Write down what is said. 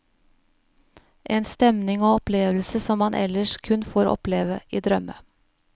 En stemning og opplevelse som man ellers kun får oppleve i drømme.